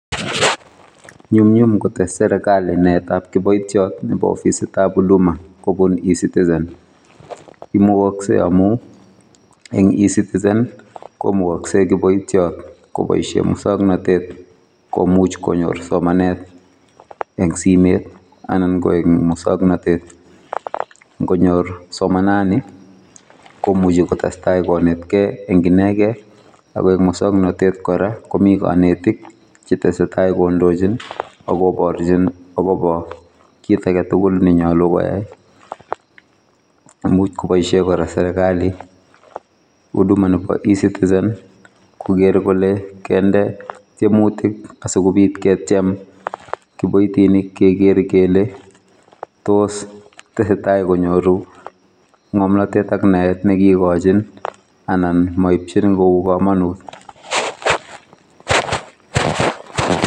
Nyumynum kotes serikali naetab kiboityot nebo ofisitab huduma kobun eCitizen imugaksei amu eng eCitizen[i] komukaksei kiboityot koboisie musoknotet komuch konyor somanet eng simet anan koek musoknotet. Ngonyor somanani komuchi kotestai konetkei eng inekei akoeng musoknotet kora komi kanetik chetesetai kondojin agoborchin agobo kiit aketugul nenyalu koyai. Imuch koboisie kora serikali huduma nebo eCitizen koger kole kende tyemutik asikobit ketyem kiboitinik kekere kele tos tesetai konyoru ngomnotetak naet nekiikochin anan moibchin kou kamanut.